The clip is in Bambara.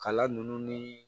Kala nunnu ni